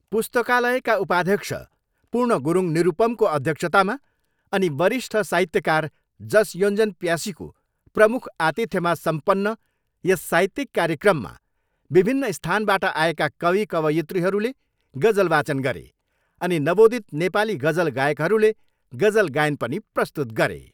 पुस्तकालयका उपाध्यक्ष पूर्ण गुरुङ निरूपमको अध्यक्षतामा अनि वरिष्ट साहित्यकार जस योञ्जन प्यासीको प्रमुख आतिथ्यमा सम्पन्न यस साहित्यिक कार्यक्रममा विभिन्न स्थानाबाट आएका कवि कवयत्रीहरूले गजल वाचन गरे अनि नवोदित नेपाली गजल गायकहरूले गजल गायन पनि प्रस्तुत गरे।